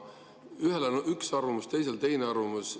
Ühel on üks arvamus, teisel teine arvamus.